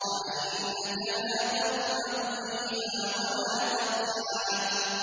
وَأَنَّكَ لَا تَظْمَأُ فِيهَا وَلَا تَضْحَىٰ